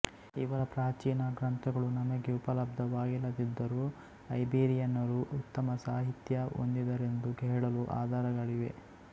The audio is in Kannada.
ಇವರ ಪ್ರಾಚೀನ ಗ್ರಂಥಗಳು ನಮಗೆ ಉಪಲಬ್ಧವಾಗಿಲ್ಲದಿದ್ದರೂ ಐಬೀರಿಯನರು ಉತ್ತಮ ಸಾಹಿತ್ಯ ಹೊಂದಿದ್ದರೆಂದು ಹೇಳಲು ಆಧಾರಗಳಿವೆ